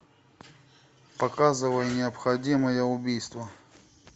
показывай необходимое убийство